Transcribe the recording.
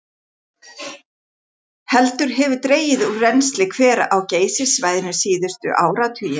Heldur hefur dregið úr rennsli hvera á Geysissvæðinu síðustu áratugi.